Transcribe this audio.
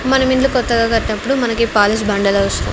మనం ఇండ్లు కొత్తగా కట్టినప్పుడు మన కీ పాలిష్ బండలవసరం.